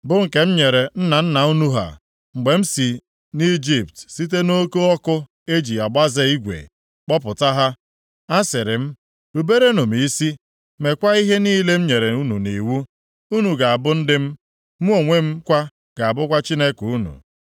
bụ nke m nyere nna nna unu ha, mgbe m si nʼIjipt, site nʼoke ọkụ e ji agbaze igwe, kpọpụta ha.’ Asịrị m, Ruberenụ m isi, meekwa ihe niile m nyere unu nʼiwu, unu ga-abụ ndị m, mụ onwe m kwa ga-abụkwa Chineke unu.